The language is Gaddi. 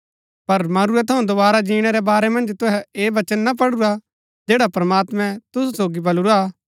पर मरूरै थऊँ दोवारा जीणै रै वारै मन्ज तुहै ऐह वचन ना पढुरा जैडा प्रमात्मैं तुसु सोगी बलुरा